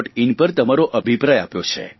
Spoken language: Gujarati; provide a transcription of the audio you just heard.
આઇએન પર તમારો અભિપ્રાય આપ્યો છે